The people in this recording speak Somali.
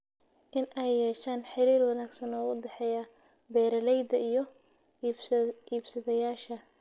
In ay yeeshaan xiriir wanaagsan oo u dhexeeya beeralayda iyo iibsadayaasha.